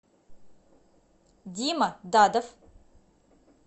дима дадов